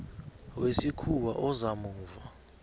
wesikhuwa oza muva